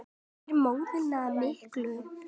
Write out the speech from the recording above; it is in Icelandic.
Yfir móðuna miklu.